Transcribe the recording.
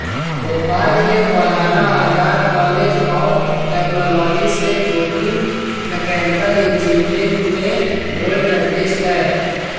भोपाल के Maulana Azad college of technology से Jogi mechanical engineering में गोल्ड मेडेलिस्ट हैं